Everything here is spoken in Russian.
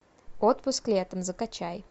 отпуск летом закачай